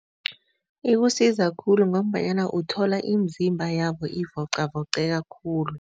Ikusiza khulu ngombanyana uthola imizimba yabo ivocavoceka khulu.